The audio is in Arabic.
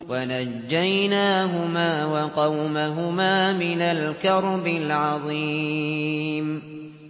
وَنَجَّيْنَاهُمَا وَقَوْمَهُمَا مِنَ الْكَرْبِ الْعَظِيمِ